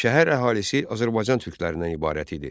Şəhər əhalisi Azərbaycan türklərindən ibarət idi.